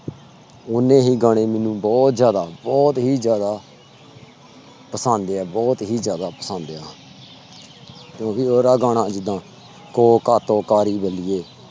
ਓਨੇ ਹੀ ਗਾਣੇ ਮੈਨੂੰ ਬਹੁਤ ਜ਼ਿਆਦਾ ਬਹੁਤ ਹੀ ਜ਼ਿਆਦਾ ਪਸੰਦ ਹੈ ਬਹੁਤ ਹੀ ਜ਼ਿਆਦਾ ਪਸੰਦ ਆ ਤੁਸੀਂ ਉਹਦਾ ਗਾਣਾ ਜਿੱਦਾ ਕੋਕਾ ਕੋਕਾ ਨੀ ਬਲੀਏ